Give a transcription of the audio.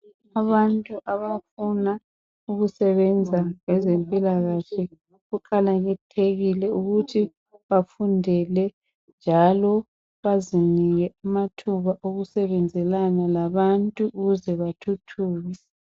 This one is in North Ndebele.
Abantu bafuna ukusebenza kwezempilakahle kuqakathekile ukuthi bafundele njalo bazinike amathuba okusebenzelana labantu ukuze bathuthuke.